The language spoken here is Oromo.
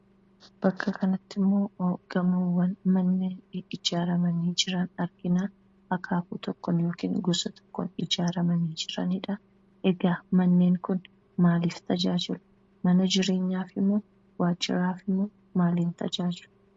Bakka kanattimmoo gamoowwan manneen ijaarramanii jiran arginaa. Akaakuu tokkoon yookiin gosa tokkoon ijaarramanii jiranidhaa. egaa manneen kun maaliif tajaajilu , mana jireenyaafimoo waajiraafimoo maaliif tajaajilu?